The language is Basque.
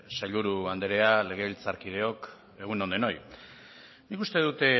sailburu andrea legebiltzarkideok egun on denoi nik uste dut